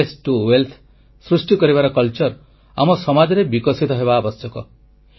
ଆବର୍ଜନାରୁ ସମ୍ପଦ ସୃଷ୍ଟି କରିବାର କଳା ଆମ ସମାଜରେ ବିକଶିତ ହେବା ଆବଶ୍ୟକ